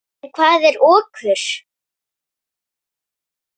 En hvað er okur?